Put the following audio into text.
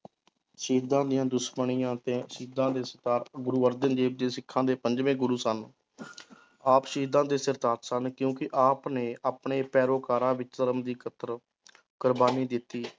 ਸ਼ਹੀਦਾਂਂ ਦੀਆਂ ਦੁਸ਼ਮਣੀਆਂ ਅਤੇ ਸ਼ਹੀਦਾਂ ਦੇ ਸਰਤਾਜ ਗੁਰੂ ਅਰਜਨ ਦੇਵ ਜੀ ਸਿੱਖਾਂ ਦੇ ਪੰਜਵੇਂ ਗੁਰੁ ਸਨ ਆਪ ਸ਼ਹੀਦਾਂ ਦੇ ਸਰਤਾਜ ਸਨ ਕਿਉਂਕਿ ਆਪ ਨੇ ਆਪਣੇੇ ਪੇਰੋਕਾਰਾਂ ਵਿੱਚ ਧਰਮ ਦੀ ਇਕਤ੍ਰ ਕੁਰਬਾਨੀ ਦਿੱਤੀ।